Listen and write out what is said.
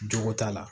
Jogo t'a la